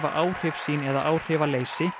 áhrif sín eða áhrifaleysi